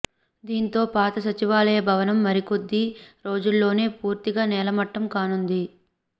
దీంతో పాత సచివాలయ భవనం మరి కొద్ది రోజుల్లోనే పూర్తిగా నేల మట్టం కానుంది